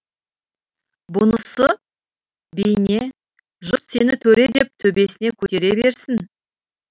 бұнысы бейне жұрт сені төре деп төбесіне көтере берсін